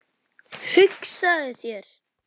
Hugsaðu þér!